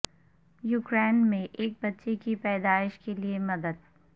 Ukraine میں ایک بچے کی پیدائش کے لئے مدد